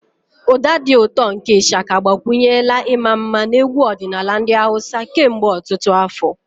Ụda dị ụtọ nke Ishaka agbakwunyela ịma mma na egwu ọdịnala ndị Hausa kemgbe ọtụtụ afọ.